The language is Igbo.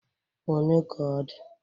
One ka ọ dị?